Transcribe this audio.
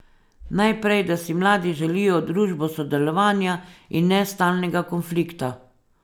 Najprej, da si mladi želijo družbo sodelovanja in ne stalnega konflikta.